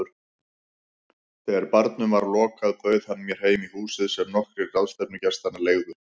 Þegar barnum var lokað bauð hann mér heim í húsið sem nokkrir ráðstefnugestanna leigðu.